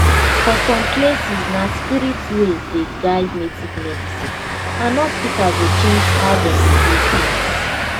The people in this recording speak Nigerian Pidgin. for some places na spirit way dey guide native medicine and hospital go change how dem dey do things.